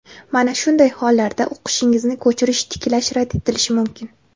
Mana shunday hollarda o‘qishingizni ko‘chirish tiklash rad etilishi mumkin.